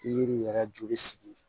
Yiri yɛrɛ joli sigi